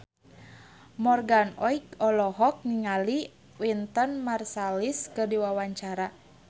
Morgan Oey olohok ningali Wynton Marsalis keur diwawancara